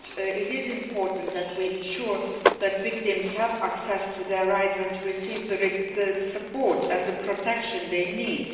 It is important that we ensure that victims have access to their rights and receive the support and protection they need.